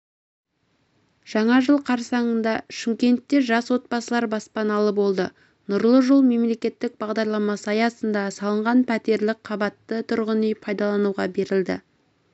жаңа жыл қарсаңында шымкентте жас отбасылар баспаналы болды нұрлы жол мемлекеттік бағдарламасы аясында салынған пәтерлі қабатты тұрғын үй пайдалануға берілді